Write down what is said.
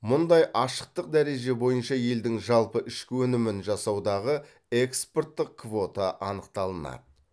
мұндай ашықтық дәреже бойынша елдің жалпы ішкі өнімін жасаудағы экспорттық квота анықталынады